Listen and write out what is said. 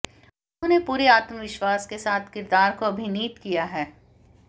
उन्होंने पूरे आत्मविश्वास के साथ किरदार को अभिनीत किया है